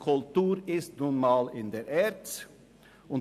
Kultur ist nun mal der ERZ zugewiesen.